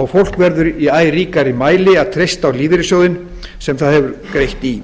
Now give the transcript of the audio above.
og fólk verður í æ ríkari mæli að treysta á lífeyrissjóðinn sem það hefur greitt í